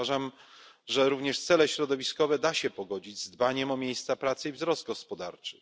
Uważam, że również cele środowiskowe da się pogodzić z dbaniem o miejsca pracy i wzrost gospodarczy.